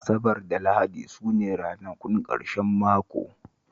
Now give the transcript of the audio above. Asabar da Lahadi su ne ranakun ƙarshen mako